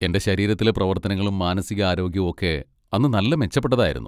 എൻ്റെ ശരീരത്തിലെ പ്രവർത്തനങ്ങളും മാനസികാരോഗ്യവും ഒക്കെ അന്ന് നല്ല മെച്ചപ്പെട്ടതായിരുന്നു.